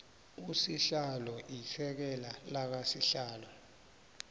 usihlalo isekela lakasihlalo